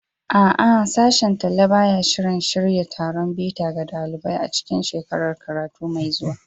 A'a, Sashen Talla ba ya shirin shirya taron bita ga ɗalibai a cikin shekarar karatu mai zuwa.